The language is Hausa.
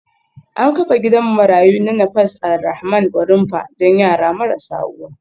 An kafa gidan marayu na Nafas Alrahman Gwarinpa don yara marasa uwa